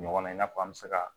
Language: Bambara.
Ɲɔgɔn na i n'a fɔ an bɛ se ka